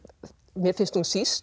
mér finnst hún síst